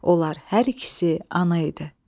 Onlar hər ikisi ana idi.